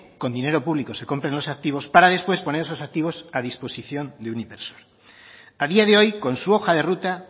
con dinero público se compren los activos para después poner esos activos a disposición de un inversor a día de hoy con su hoja de ruta